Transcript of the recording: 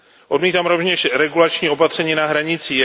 Odmítáme rovněž regulační opatření na hranicích.